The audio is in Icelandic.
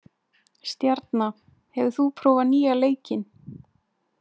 Stjarna, hefur þú prófað nýja leikinn?